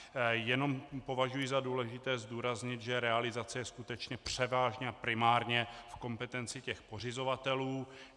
Jenom považuji za důležité zdůraznit, že realizace je skutečně převážně a primárně v kompetenci těch pořizovatelů.